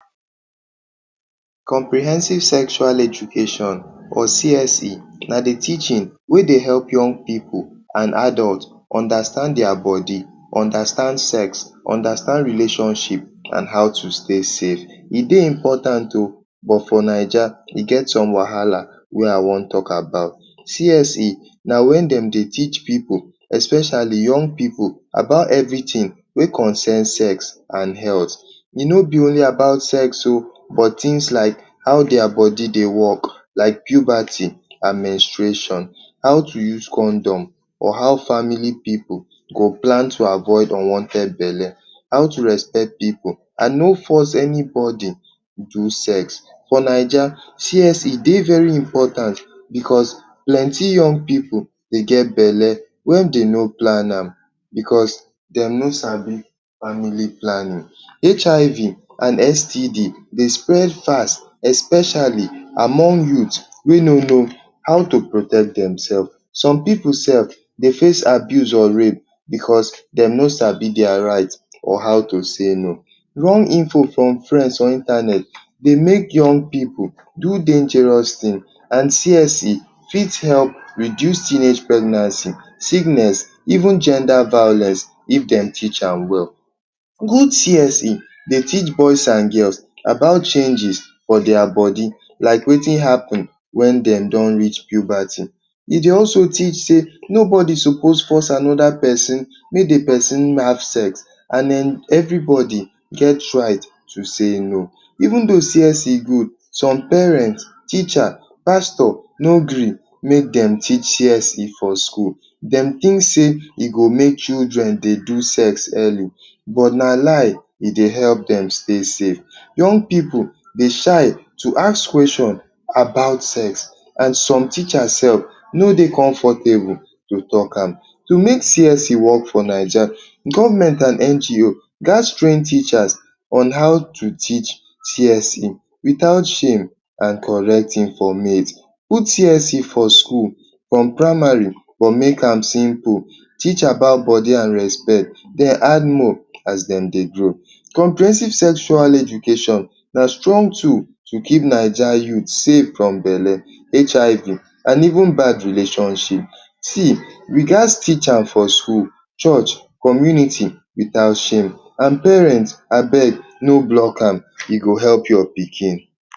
Comprehensive Sexual Education (CSE) na the teaching wey dey help young people and adult understand their body, understand sex, understand relationship and how to stay safe. E dey important oh! But for Naija, e get some wahala wey I wan talk about. CSE na when dem dey teach pipu, especially young pipu, about everything wey concern sex and health. E no be only about sex oh! But things like how their body dey work — like puberty and menstruation. How to use condom or how family pipu go plan to avoid unwanted belle. How to respect pipu and no force anybody do sex. For Naija, CSE dey very important because plenty young pipu don dey get belle wey dem no plan am, because dem no sabi family planning. HIV and STD dey spread fast — especially among youth wey no know how to protect themselves. Some pipu sef dey face abuse or rape because dem no sabi their right or how to say no. Wrong info from friends or internet dey make young pipu do dangarous things. And CSE fit help reduce teenage pregnancy, sickness, even gender violence, if dem teach am well. Dis CSE dey teach boys and girls about changes for their body, like wetin happen when dem don reach puberty. E dey also teach say nobody suppose force another pesin make the pesin have sex. And everybody get rights to say no. Even though CSE good, some parents, teacher, and pastor no gree make dem teach CSE for school. Dem think say e go make children dey do sex early — but na lie. E dey help dem stay safe. Young pipu dey shy to ask question about sex. And some teachers sef no dey comfortable to talk am. To make CSE work for Naija, government and NGO gats train teacher on how to teach CSE — without shame and with correct informate. Put CSE for school from primary, but make am simple. Teach about body and respect. Then add more as dem dey grow. Comprehensive Sexual Education na strong tool to keep Naija youth safe from belle, HIV and even bad relationship. See you gats teach am for school, church, community, without shame. And parents, abeg no block am. E go help your pikin.